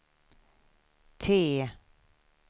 T